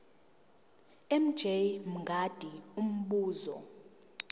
mj mngadi umbuzo